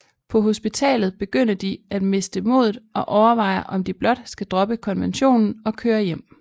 På hospitalet begynde de at miste modet og overvejer om de blot skal droppe konventionen og kører hjem